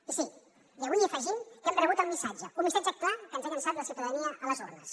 i sí avui hi afegim que hem rebut el missatge un missatge clar que ens ha llançat la ciutadania a les urnes